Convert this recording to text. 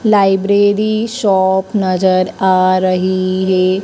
Library shop नजर आ रही है।